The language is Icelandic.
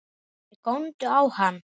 Þeir góndu á hann.